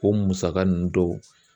O musaka nunnu dɔw